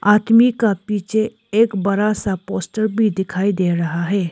आदमी का पीछे एक बड़ा सा पोस्टर भी दिखाई दे रहा है।